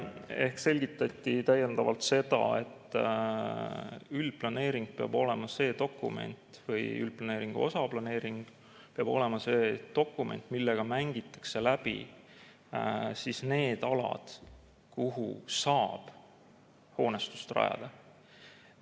Ehk selgitati täiendavalt seda, et üldplaneering peab olema see dokument või üldplaneeringu osaplaneering peab olema see dokument, millega mängitakse läbi need alad, kuhu saab hoonestust rajada.